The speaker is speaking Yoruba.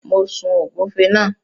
Mo sun ògúnfe náà.